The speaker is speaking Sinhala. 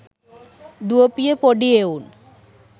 දුවපිය පොඩි එවුන්